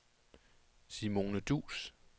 Simone Duus